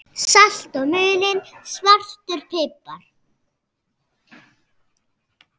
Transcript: Salt og mulinn svartur pipar